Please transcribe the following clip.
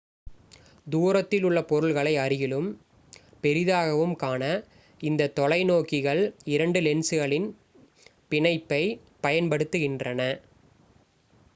தூரத்தில் உள்ள பொருள்களை அருகிலும் பெரிதாகவும் காண இந்தத் தொலை நோக்கிகள் இரண்டு லென்ஸ்களின் பிணைப்பை பயன் படுத்துகின்றன